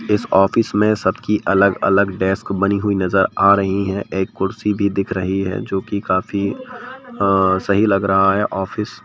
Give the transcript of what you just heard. इस ऑफिस में सबकी अलग-अलग डेस्क बनी हुई नज़र आ रही हैं एक कुर्सी भी दिख रही है जो कि काफ़ी अ सही लग रहा है ऑफिस ।